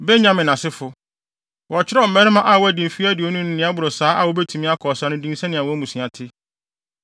Benyamin asefo: Wɔkyerɛw mmarima a wɔadi mfe aduonu ne nea ɛboro saa a wobetumi akɔ ɔsa no din sɛnea wɔn mmusua te.